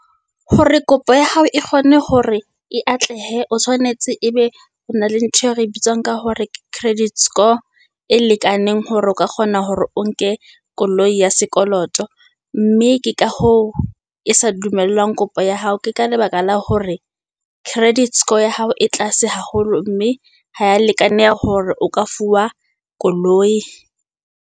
Hore kopo ya hao e kgone hore e atlehe, o tshwanetse ebe o na le ntho eo re e bitswang ka hore credit score e lekaneng. Hore o ka kgona hore o nke koloi ya sekoloto, mme ke ka hoo e sa dumellwang kopo ya hao. Ke ka lebaka la hore credit score ya hao e tlase haholo, mme haya lekaneha hore o ka fuwa koloi.